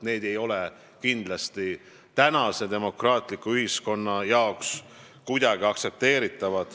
See ei ole kindlasti tänases demokraatlikus ühiskonnas kuidagi aktsepteeritav.